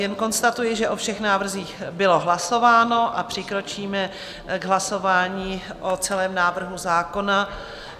Jen konstatuji, že o všech návrzích bylo hlasováno, a přikročíme k hlasování o celém návrhu zákona.